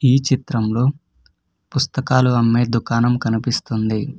ఈ చిత్రంలో పుస్తకాలు అమ్మే దుకాణం కనిపిస్తుంది.